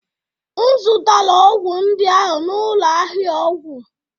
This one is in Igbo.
M zụtara ọgwụ ndị ahụ n'ụlọ ahịa ọgwụ